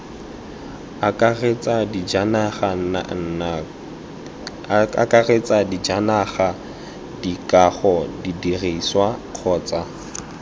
akaretsa dijanaga dikago didirisiwa kgotsa